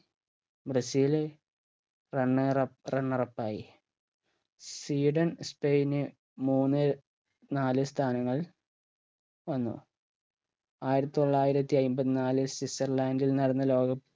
Brazil runner up runner up ആയി Sweden സ്പെയിന് മൂന്ന് നാല് സ്ഥാനങ്ങൾ വന്നു ആയിരത്തി തൊള്ളായിരത്തി അയ്മ്പത് നാല് സ്വിറ്റ്സർലൻഡിൽ നടന്ന ലോക cup ൽ